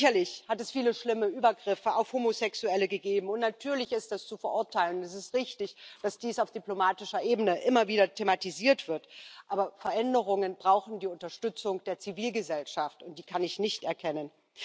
Sicherlich hat es viele schlimme Übergriffe auf Homosexuelle gegeben, und natürlich ist das zu verurteilen. Es ist richtig, dass dies auf diplomatischer Ebene immer wieder thematisiert wird. Aber Veränderungen brauchen die Unterstützung der Zivilgesellschaft, und die kann ich nicht erkennen.